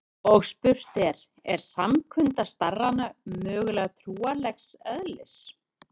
Og spurt er: er samkunda starrana mögulega trúarlegs eðlis?